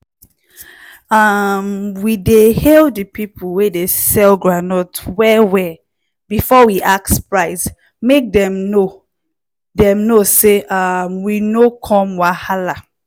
um we dey hail the people wey dey sell groundnut well-well before we ask price make dem know dem know say um we no come wahala.